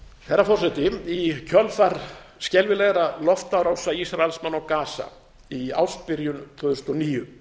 herra forseti í kjölfar skelfilegra loftárása ísraelsmanna á gaza í ársbyrjun tvö þúsund og níu